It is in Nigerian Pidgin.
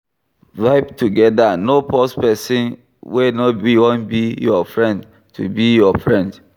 Vibe together, no force person wey no wan be your friend to be your friend